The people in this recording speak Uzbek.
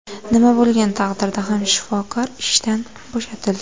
Nima bo‘lgan taqdirda ham shifokor ishdan bo‘shatildi.